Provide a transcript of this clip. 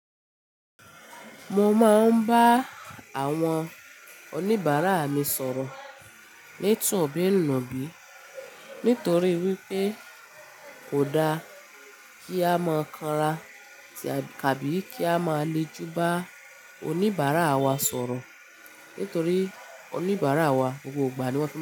Mo máa ń bá àwọn oníbàárà mi sọ̀rọ̀ ní tun bí nù bí. Nítorí wípé kò dá kí á máa kanra tàbí kí a máa lè jú bá oníbàárà wa sọ̀rọ̀. Nítorí oníbàárà wa gbogbo ìgbà ni wọ́n fi n.